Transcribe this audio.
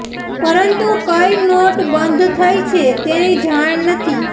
પરંતુ કઇ નોટ બંધ થઇ છે તેની જાણ નથી